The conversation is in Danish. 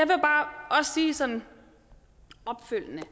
bare sige sådan opfølgende